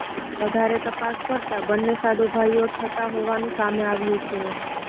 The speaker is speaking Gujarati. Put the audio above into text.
વધારે તપાસ કરતા બંને સાઢુભાઇઓ થતાં હોવાનું સામે આવ્યું છે